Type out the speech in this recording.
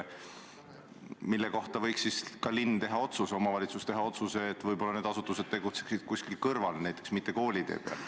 Nende kohta võiks omavalitsus teha otsuse, et võib-olla nad võiksid tegutseda kuskil mujal, mitte koolitee peal.